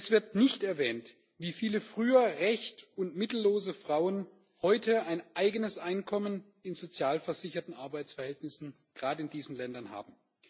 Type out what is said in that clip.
Es wird nicht erwähnt, wie viele früher recht und mittellose Frauen heute ein eigenes Einkommen in sozialversicherten Arbeitsverhältnissen gerade in diesen Ländern haben.